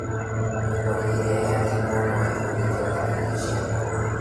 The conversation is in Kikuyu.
Mĩkori ĩrĩa yatigwo noĩhũthĩke ta irio cia ng'ombe.